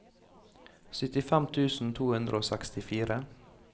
syttifem tusen to hundre og sekstifire